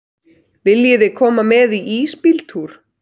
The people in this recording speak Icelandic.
Viljiði koma með í ísbíltúr?